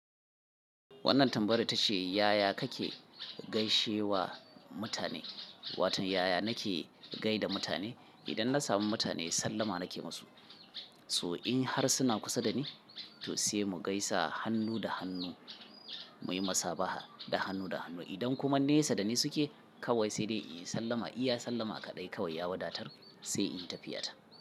Wannan tambayar ta ce, "Yaya kake gaishe wa mutane?" Wato yaya nake gaida mutane? Idan na sami mutane sallama na ke ma su. So in har suna kusa da ni, to sai mu gaisa hannu da hannu muyi masaba'a da hannu da hannu. Idan kuma nesa da ni suke kawai sai dai in sallama, iya sallama kaɗai kawai ya wadatar sai in tafi ya ta.